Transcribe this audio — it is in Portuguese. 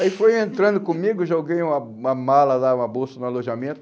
Aí foi entrando comigo, joguei uma uma mala lá, uma bolsa no alojamento.